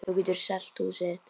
Þú getur selt húsið þitt.